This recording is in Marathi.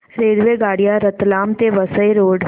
रेल्वेगाड्या रतलाम ते वसई रोड